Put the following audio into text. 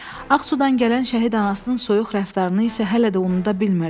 Ağsudan gələn şəhid anasının soyuq rəftarını isə hələ də unuda bilmirdi.